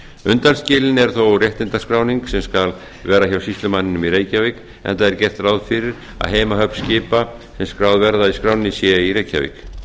undanskilin er þó réttindaskráning sem skal vera hjá sýslumanninum í reykjavík enda er gert ráð fyrir að heimahöfn skipa sem skráð verða í skránni séu í reykjavík